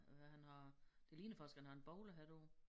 Øh hvad han har det ligner faktisk han har en bowlerhat på